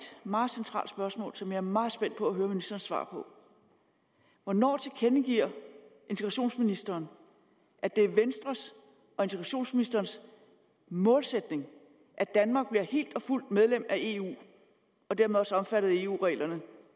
meget centralt spørgsmål som jeg er meget spændt på at høre ministeren svare på hvornår tilkendegiver integrationsministeren at det er venstres og integrationsministerens målsætning at danmark bliver helt og fuldt medlem af eu og dermed også omfattet af eu reglerne